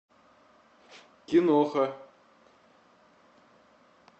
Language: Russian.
киноха